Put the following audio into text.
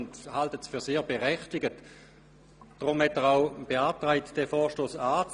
Er hält es für sehr berechtigt, deshalb hat er auch die Annahme des Vorstosses beantragt.